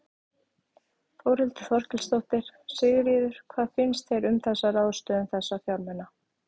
Þórhildur Þorkelsdóttir: Sigríður, hvað finnst þér um þessa ráðstöfun þessa fjármuna?